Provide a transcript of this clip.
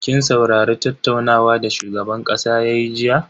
Kin saurari tattaunawa da shugaban kasa yayi jiya?